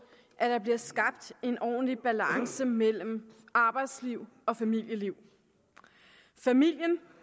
at der bliver skabt en ordentlig balance mellem arbejdsliv og familieliv familien